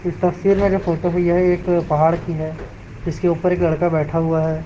इस तस्वीर में जो फोटो है यह एक पहाड़ की है इसके ऊपर एक लड़का बैठा हुआ है।